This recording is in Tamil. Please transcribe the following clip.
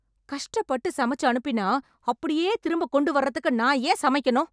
கஷ்டப்பட்டு சமைச்சு அனுப்பினா அப்படியே திரும்பக் கொண்டு வர்றதுக்கு நான் ஏன் சமைக்கணும்?